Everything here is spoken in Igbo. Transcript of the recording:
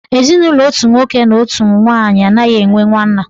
Ezinụlọ otu nwoke na otu nwaanyị anaghị enwe nwanna.